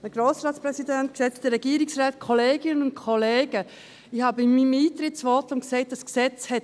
Ich habe in meinem Eintretensvotum gesagt, dieses Gesetz habe einen gewissen Mechanismus hat.